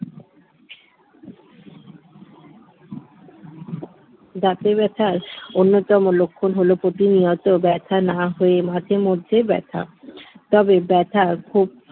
দাঁতে ব্যথার অন্যতম লক্ষণ হল প্রতিনিয়ত ব্যথা না হয়ে মাঝেমধ্যে ব্যথা তবে ব্যথার খুব